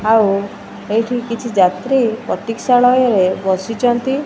ଆଉ ଏଇଠି କିଛି ଯାତ୍ରୀ ପ୍ରତିକଷାଳୟରେ ରେ ବସିଚନ୍ତି।